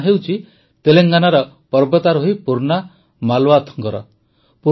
ଏହି ନାମ ହେଉଛି ତେଲେଙ୍ଗାନାର ପର୍ବତାରୋହୀ ପୂର୍ଣ୍ଣା ମାଲାୱଥଙ୍କର